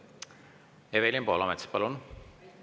Evelin Poolamets, palun!